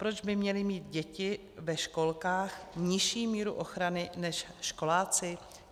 Proč by měly mít děti ve školkách nižší míru ochranu než školáci?